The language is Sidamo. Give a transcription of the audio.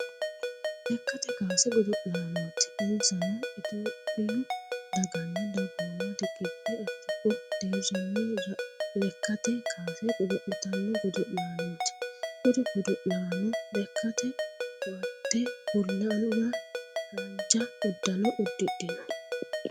Lekkate kaase godo'laanoooti. Insanno itiyophiyu daganna dagooma riqibbe afiriku deerinni lekkate kaase godo'litanno godo'laanooti. Kuri godo'laano lekkate koatte bullanna haanja uddano uddidhino.